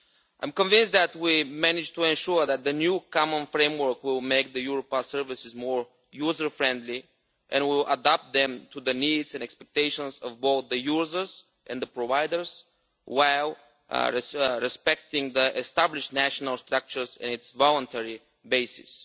I am convinced that we have ensured that the new common framework will make the Europass services more user friendly and will adapt them to the needs and expectations of both the users and the providers, while respecting the established national structures and its voluntary basis.